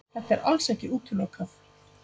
Þetta er alls ekki útilokað